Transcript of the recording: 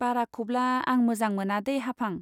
बाराखौब्ला आं मोजां मोनादे हाफां।